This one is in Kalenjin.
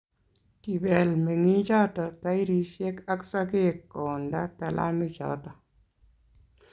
kibel meng'ichoto tairisiek ak sokek koonda talamoichoto